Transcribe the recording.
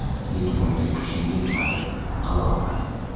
Lekin unga kuchim yetmadi, qilolmadim.